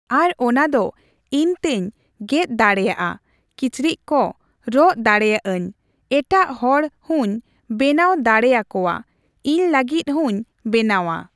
ᱟᱨ ᱚᱱᱟ ᱫᱚ ᱤᱧᱛᱮᱧ ᱜᱮᱫ ᱫᱟᱲᱮᱭᱟᱜᱼᱟ ᱠᱤᱪᱨᱤᱪ ᱠᱚ ᱨᱚᱜ ᱫᱟᱲᱮᱭᱟᱜᱼᱟᱹᱧ᱾ ᱮᱴᱟᱜ ᱦᱚᱲ ᱦᱩᱸᱧ ᱵᱮᱱᱟᱣ ᱫᱟᱲᱮᱭᱟᱠᱚᱣᱟ, ᱤᱧ ᱞᱟᱹᱜᱤᱫ ᱦᱚᱸᱧ ᱵᱮᱱᱟᱣᱟ᱾